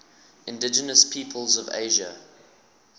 indigenous peoples of asia